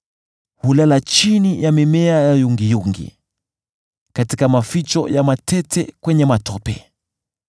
Hulala chini ya mimea ya yungiyungi, katika maficho ya matete kwenye matope.